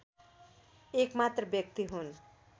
एकमात्र व्यक्ति हुन्